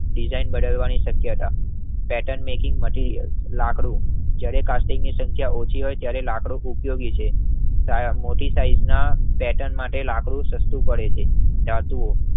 Designing બદલાવની શક્યતા pattern making material લાકડું જડે કાસ્ટિંગની સંખ્યા ઓછી હોય ત્યરે લાકડું ઉપયોગી છે મોટી સાઈઝ ના પેર્ટન માટે લાકડું સસ્તું પડે છે. ધતુ ઓ